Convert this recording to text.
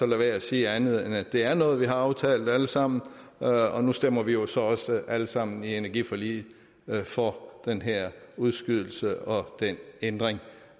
med at sige andet end at det er noget vi har aftalt alle sammen og nu stemmer vi jo så også alle sammen i energiforliget for den her udskydelse og den ændring